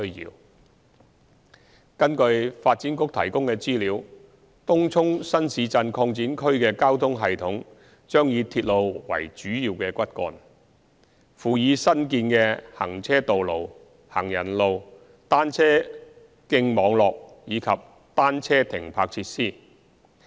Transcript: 二根據發展局提供的資料，東涌新市鎮擴展區的交通系統將以鐵路為主要骨幹，輔以新建的行車道路、行人路、單車徑網絡及單車停泊設施。